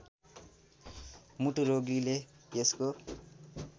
मुटु रोगीले यसको